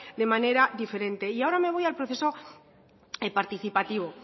de manera diferente y ahora me voy al proceso participativo